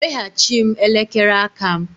Weghachi m elekere aka m!